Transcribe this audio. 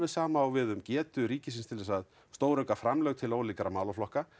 sama á við um getu ríkisins til að stórauka framlög til ólíkra málaflokka